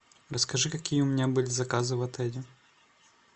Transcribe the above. расскажи какие у меня были заказы в отеле